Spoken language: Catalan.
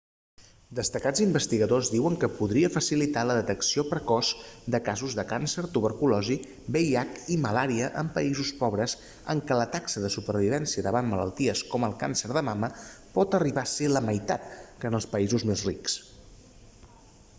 destacats investigadors diuen que podria facilitar la detecció precoç de casos de càncer tuberculosi vih i malària en països pobres en què la taxa de supervivència davant malalties com el càncer de mama pot arribar a ser la meitat que en països més rics